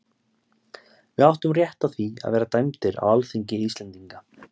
Við áttum rétt á því að vera dæmdir á alþingi Íslendinga.